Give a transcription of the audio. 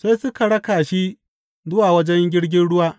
Sai suka raka shi zuwa wajen jirgin ruwa.